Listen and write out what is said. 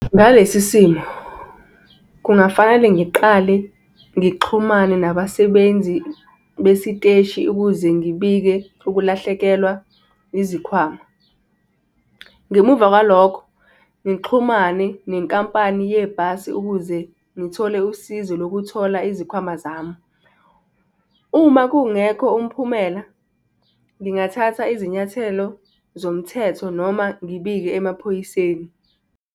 Ngalesi simo, kungafanele ngiqale ngixhumane nabasebenzi besiteshi ukuze ngibike ukulahlekelwa izikhwama. Ngemuva kwalokho ngixhumane nenkampani yebhasi ukuze ngithole usizo lokuthola izikhwama zami. Uma kungekho umphumela, ngingathatha izinyathelo zomthetho noma ngibike emaphoyiseni.